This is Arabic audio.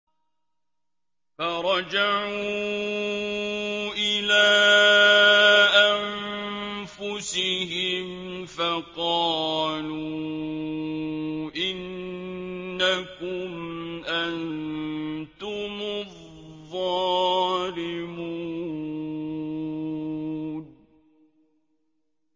فَرَجَعُوا إِلَىٰ أَنفُسِهِمْ فَقَالُوا إِنَّكُمْ أَنتُمُ الظَّالِمُونَ